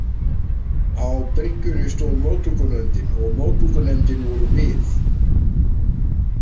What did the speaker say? Á bryggjunni stóð móttökunefndin og móttökunefndin vorum við.